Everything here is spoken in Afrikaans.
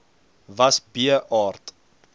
was b aard